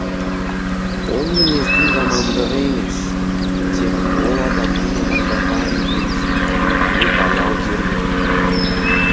ол мінездің жамандығы емес тек ол адамның адамдарға үйренісіп кетуі баяу дер едім